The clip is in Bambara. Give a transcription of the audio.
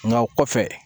Nka o kɔfɛ